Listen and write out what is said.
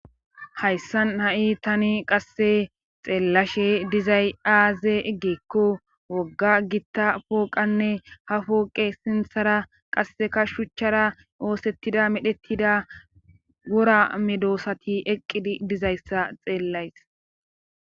Hayssan ha7i tani qasse xeeellashe dizay aaze eggeekko wogga gitta pooqanne ha pooqe sinthara qassekashuchchara oosettida medhettida wora medoosati eqqidi dizayssa xeellays.